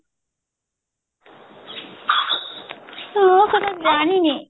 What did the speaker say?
ମୁଁ ସେଟା ଜାଣିନି